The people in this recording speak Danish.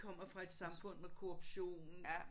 Kommer fra et samfund med korruption